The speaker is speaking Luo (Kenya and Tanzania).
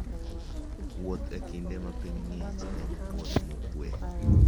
Wuoth e kinde ma piny ng'ich en wuoth mokuwe.